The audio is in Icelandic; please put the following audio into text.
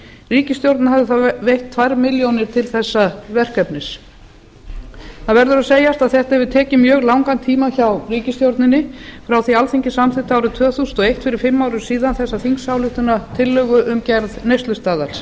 ríkisstjórnin hafði þá veitt tvær milljónir til þessa verkefnis það verður að segjast að þetta hefur tekið mjög langan tíma hjá ríkisstjórninni frá því að alþingi samþykkti árið tvö þúsund og eitt fyrir fimm árum síðan þessa þingsályktunartillögu um gerð neyslustaðals